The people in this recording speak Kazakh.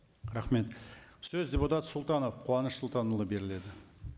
рахмет сөз депутат сұлтанов қуаныш сұлтанұлына беріледі